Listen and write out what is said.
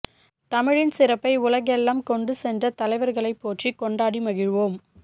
தமிழின் சிறப்பை உலகெல்லாம் கொண்டு சென்ற தலைவர்களை போற்றி கொண்டாடி மகிழ்வோம்